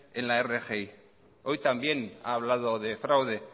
en la rgi hoy también ha hablado de fraude